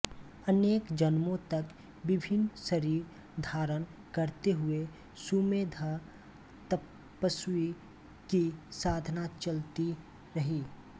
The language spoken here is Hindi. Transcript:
अनेक जन्मों तक विभिन्न शरीर धारण करते हुए सुमे ध तपस्वी की साधना चलती रही